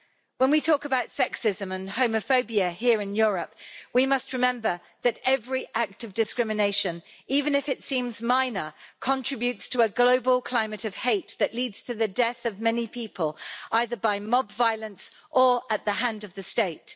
When we talk about sexism and homophobia here in Europe, we must remember that every act of discrimination, even if it seems minor, contributes to a global climate of hate that leads to the death of many people either by mob violence or at the hand of the state.